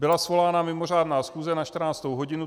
Byla svolána mimořádná schůze na 14. hodinu.